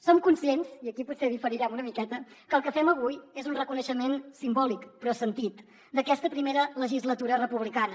som conscients i aquí potser diferirem una miqueta que el que fem avui és un reconeixement simbòlic però sentit d’aquesta primera legislatura republicana